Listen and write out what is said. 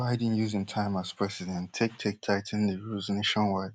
joe biden use im time as president take take tigh ten di rules nationwide